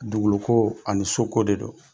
Dugukolo ko ani so ko de do.